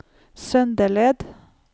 Søndeled